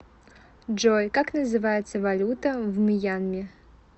джой как называется валюта в мьянме